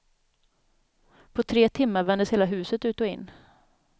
På tre timmar vändes hela huset ut och in.